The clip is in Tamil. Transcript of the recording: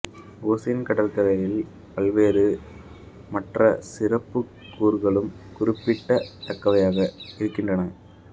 ஓசேன் கடற்கரையில் பல்வேறு மற்ற சிறப்புக்கூறுகளும் குறிப்பிடத் தகுந்தவையாக இருக்கின்றன